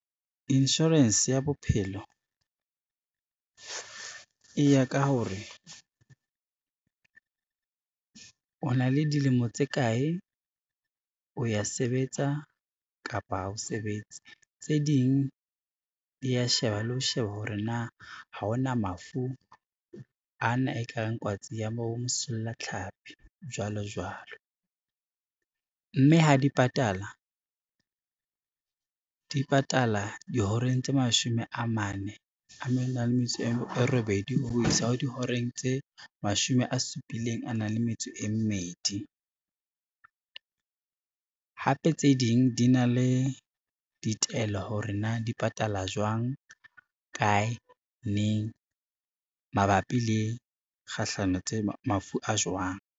Insurance ya bophelo e ya ka hore o na le dilemo tse kae, o ya sebetsa kapa ha o sebetse. Tse ding di ya sheba le ho sheba hore na ha ona mafu ana e ka reng kwatsi ya bo mosollatlhapi jwalo jwalo, mme ha di patala di patala dihoreng tse mashome a mane le metso e robedi ho isa ho dihoreng tse mashome a supileng a nang le metso e mmedi. Hape tse ding di na le ditaelo hore na di patala jwang, kae, neng, mabapi le kgahlano tse mafu a jwang.